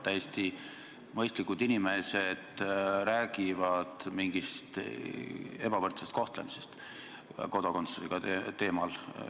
Täiesti mõistlikud inimesed räägivad mingist ebavõrdsest kohtlemisest kodakondsuse teemal.